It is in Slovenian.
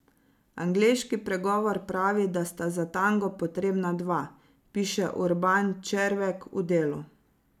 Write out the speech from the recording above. Angleški pregovor pravi, da sta za tango potrebna dva, piše Urban Červek v Delu.